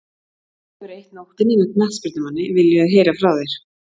Ef þú hefur eytt nóttinni með knattspyrnumanni, viljum við heyra frá þér.